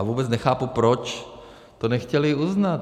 A vůbec nechápu, proč to nechtěli uznat.